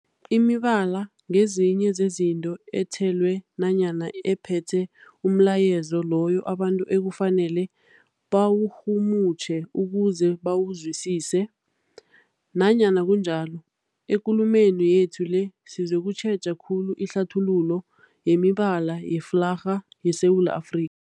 Imibala ngezinye zezinto ethelwe nanyana ephethe umlayezo loyo abantu ekufanele bawurhumutjhe ukuze bawuzwisise. Nanyana kunjalo, ekulumeni yethu le sizokutjheja khulu ihlathululo yemibala yeflarha yeSewula Afri